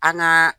An gaa